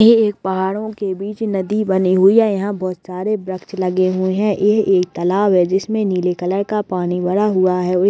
ये एक पहाडों बीच नदी बनी हुई है यहाँ बहोत सारे वृक्ष लगे हुए है ये एक तालाब है जिसमें नीले कलर का पानी भरा हुआ है ओर एक --